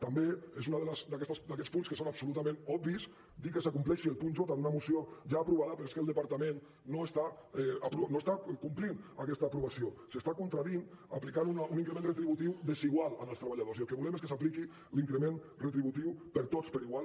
també és un d’aquests punts que són absolutament obvis dir que s’acompleixi el punt jque el departament no està complint aquesta aprovació s’està contradient aplicant un increment retributiu desigual als treballadors i el que volem és que s’apliqui l’increment retributiu per a tots igual